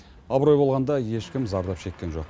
абырой болғанда ешкім зардап шеккен жоқ